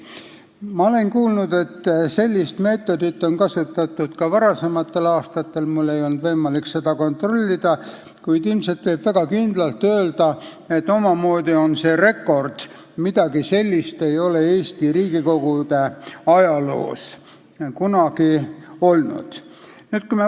Ma olen kuulnud, et sellist meetodit on kasutatud ka varasematel aastatel – mul ei olnud võimalik seda kontrollida –, kuid ilmselt võib väga kindlalt öelda, et omamoodi on see rekord, midagi sellist ei ole Eesti Riigikogu ajaloos kunagi olnud.